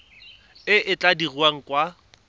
e e tla dirwang kwa